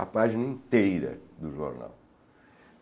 A página inteira do jornal.